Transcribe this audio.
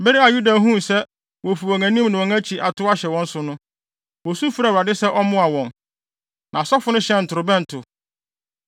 Bere a Yuda huu sɛ wofi wɔn anim ne wɔn akyi atow ahyɛ wɔn so no, wosu frɛɛ Awurade sɛ ɔmmoa wɔn. Na asɔfo no hyɛn ntorobɛnto,